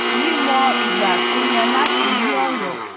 mí mọ ìgbà tó yẹ láti yí ọrọ